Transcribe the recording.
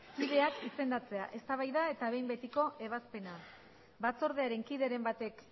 kideak izendatzea eztabaida eta behin betiko ebazpena batzordearen kideren batek